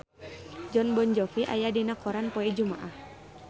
Jon Bon Jovi aya dina koran poe Jumaah